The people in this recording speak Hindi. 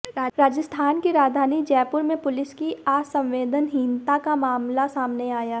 राजस्थान की राजधानी जयपुर में पुलिस की असंवेदनहीनता का मामला सामने आया है